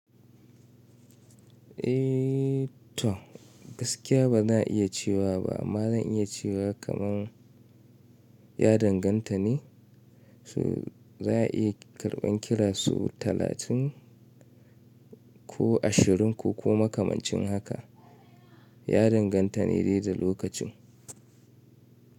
Eh to gaskiya ba na iya cewa ba, amma zan iya cewa kaman ya danganta ne so za'a iya karɓan kira sau talatin ko ashirin ko kuma makamacin haka. Ya danganta ne da lokacin.